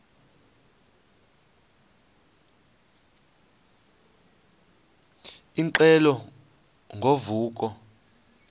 ingxelo ngo vuko